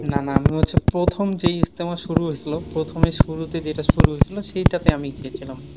না না আমি হচ্ছে প্রথম যেই ইজতেমা শুরু হয়ছিল। প্রথমে শুরুতে যেটা শুরু হয়ছিল সেইটাতে আমি গিয়েছিলাম।